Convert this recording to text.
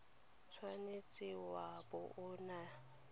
tshwanetse wa bo o na